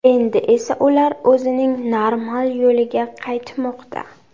Endi esa ular o‘zining normal yo‘liga qaytmoqda.